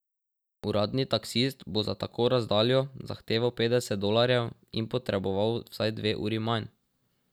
Uradni taksist bo za tako razdaljo zahteval petdeset dolarjev in potreboval vsaj dve uri manj.